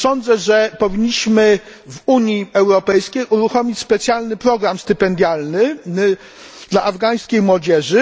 Otóż sądzę, że powinniśmy w Unii Europejskiej uruchomić specjalny program stypendialny dla afgańskiej młodzieży.